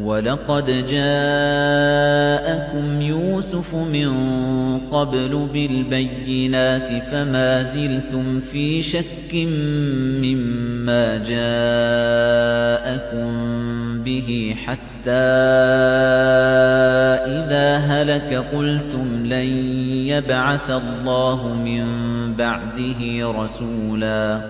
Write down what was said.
وَلَقَدْ جَاءَكُمْ يُوسُفُ مِن قَبْلُ بِالْبَيِّنَاتِ فَمَا زِلْتُمْ فِي شَكٍّ مِّمَّا جَاءَكُم بِهِ ۖ حَتَّىٰ إِذَا هَلَكَ قُلْتُمْ لَن يَبْعَثَ اللَّهُ مِن بَعْدِهِ رَسُولًا ۚ